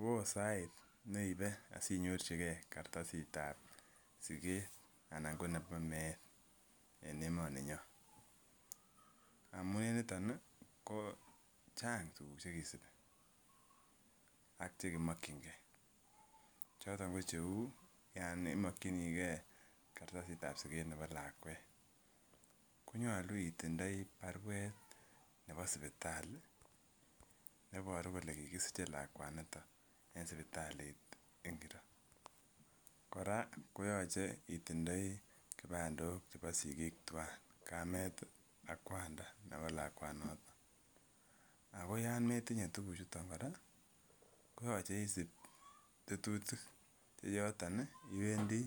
Woo sait neibe asinyorchigee kartasitab siket anan ko nebo meet en emoni nyon amun en niton ih ko chang tuguk chekisibi ak chekimokyingee choton ko cheu yan imokyinigee kartasit nebo siket nebo lakwet konyolu itindoi baruet nebo sipitali neboru kole kikisiche lakwaniton en sipitalit ngiro kora koyoche itindoi kipandok chebo sigik twan, kamet ak kwanda nebo lakwanoton ako yan metinye tuguk chuton kora koyoche isib tetutik yeyoton ih iwendii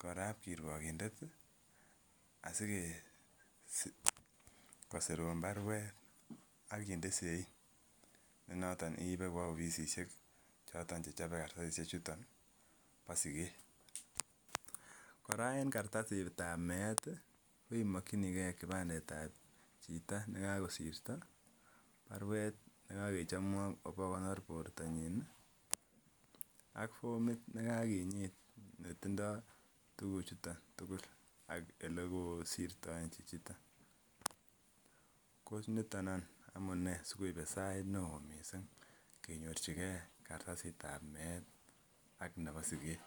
korap kirwokindet asikosirun baruet akinde sein ne noton iibe kwo ofisisiek choton che chobe kartasisiek chuton bo siket. Kora en kartasitab meet ih imokyinigee kipandet ab chito nekakosirto, baruet nekakechomwok obokonor bortonyin ih ak fomit nekakinyit netindoo tuguk chuton tugul ak elekosirtoen chichoton ko niton any amunee sikoibe sait neoo missing kenyorchigee kartasitab meet ak nebo siket.